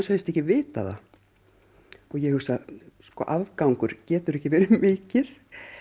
segist ekki vita það og ég hugsa afgangur getur ekki verið mikið